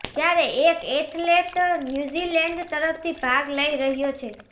જ્યારે એક athlete New Zealand તરફથી ભાગ લઈ રહ્યો છે